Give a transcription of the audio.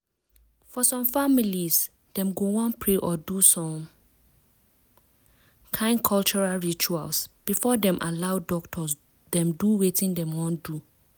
for some families dem go wan pray or do some kind cultural rituals before dem allow doctors dem do wetin dem wan do.